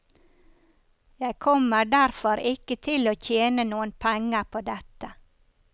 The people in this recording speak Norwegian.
Jeg kommer derfor ikke til å tjene noen penger på dette.